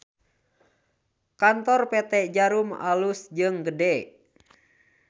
Kantor PT Djarum alus jeung gede